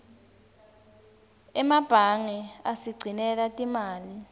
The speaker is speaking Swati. emebange asigcinela timali